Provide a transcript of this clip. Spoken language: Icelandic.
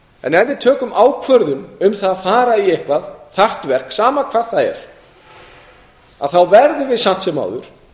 en ef við tökum ákvörðun um það að fara í eitthvað þarft verk sama hvað það er verðum við samt sem áður